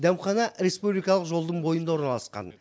дәмхана республикалық жолдың бойында орналасқан